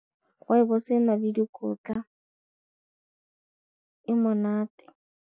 Rooibos e na le dikotla e monate.